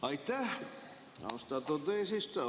Aitäh, austatud eesistuja!